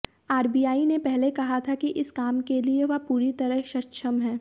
RBI ने पहले कहा था कि इस काम के लिए वह पूरी तरह सक्षम है